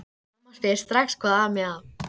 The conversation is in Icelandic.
Mamma spyr strax hvað ami að.